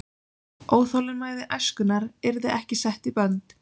Óþolinmæði æskunnar yrði ekki sett í bönd.